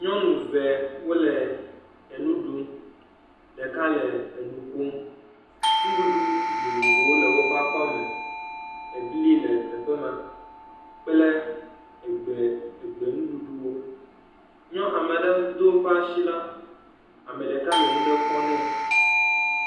Nyɔnu ve wole enu ɖum, ɖeka le eŋu kom, nuɖuɖu vovovowo le woƒe akɔme, ebli le teƒe ma kple egbe nuɖuɖuwo, ame aɖe do eƒe asi la ame ɖeka le nu aɖe kɔ nɛ.